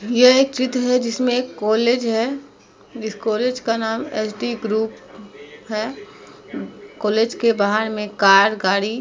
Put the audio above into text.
यह एक चित्र है। जिसमे एक कॉलेज है। जिस कॉलेज का नाम एचडी ग्रुप है। कॉलेज के बाहर में कार गाड़ी --